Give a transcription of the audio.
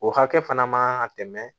O hakɛ fana man kan ka tɛmɛ